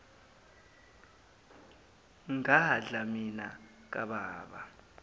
ngadla mina kababa